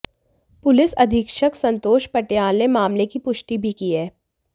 police अधीक्षक संतोष पटियाल ने मामले की पुष्टि भी की है